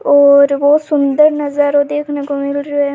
और बहुत सुन्दर नजारो देखने को मिल रियो है।